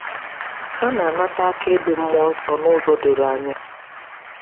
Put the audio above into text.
Ha na-anata akaebe mmụọ nsọ n’ụzọ doro anya.